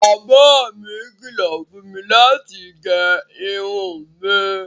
Baba mi kìlọ̀ fún mi láti gé irun mi